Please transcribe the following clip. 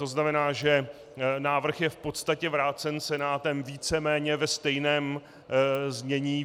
To znamená, že návrh je v podstatě vrácen Senátem víceméně ve stejném znění.